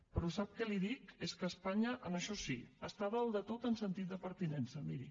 però sap què li dic és que espanya en això sí està a dalt de tot en sentit de pertinença miri